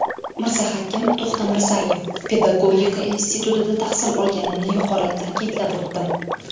Mirzahakim To‘xtamirzayev: Pedagodika institutida tahsil olganimni yuqorida ta’kidlab o‘tdim.